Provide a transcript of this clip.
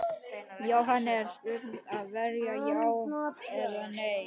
Jóhann: En stöðuveiting hlýtur að vera já eða nei?